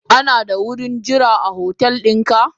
Ana da wurin jira a hotel dinka?